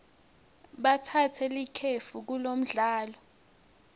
batsatse likefu kulomdlalo